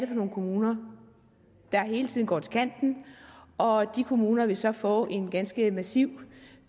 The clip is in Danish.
for nogle kommuner der hele tiden går til kanten og de kommuner vil så få en ganske massiv